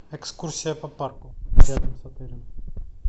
экскурсия по парку рядом с отелем